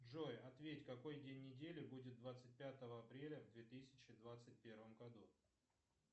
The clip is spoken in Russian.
джой ответь какой день недели будет двадцать пятого апреля в две тысячи двадцать первом году